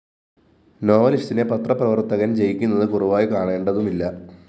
നോവലിസ്റ്റിനെ പത്രപ്രവര്‍ത്തകന്‍ ജയിക്കുന്നത് കുറവായി കാണേണ്ടതുമില്ല